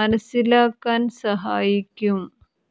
മനസ്സിലാക്കാൻ സഹായിക്കും